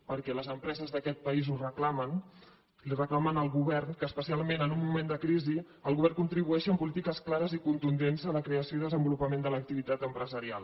perquè les empreses d’aquest país ho reclamen li ho reclamen al govern que especialment en un moment de crisi el govern contribueixi amb polítiques clares i contundents a la creació i desenvolupament de l’activitat empresarial